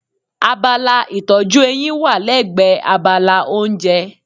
Abala ìtọ́jú eyín wà lẹ́gbẹ̀ẹ́ abala oúnjẹ.